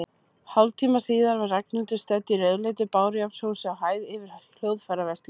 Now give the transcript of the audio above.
Hálftíma síðar var Ragnhildur stödd í rauðleitu bárujárnshúsi, á hæð yfir hljóðfæraverslun.